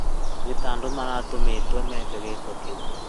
Nĩ ta andũ maratũmĩtwo meke gĩko kĩu